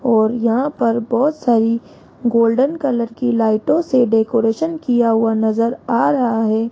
और यहां पर बहुत सारी गोल्डन कलर की लाइटों से डेकोरेशन किया हुआ नजर आ रहा है।